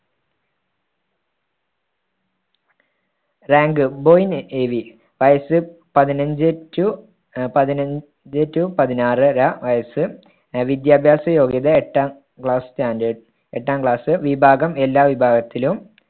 വയസ്സ് പതിനഞ്ച് to അഹ് പതിനഞ്ച് to പതിനാറര വയസ്സ്. അഹ് വിദ്യാഭ്യാസ യോഗ്യത എട്ടാം class standard. എട്ടാം class വിഭാഗം എല്ലാ വിഭാഗത്തിലും